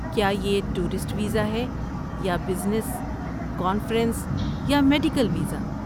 کیا یہ tourist visa ہے یا بزنس، کانفرنس یا میڈیکل ویزا؟